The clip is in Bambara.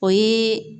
O ye